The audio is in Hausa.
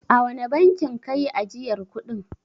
A wane bankin ka yi ajiyar kuɗin.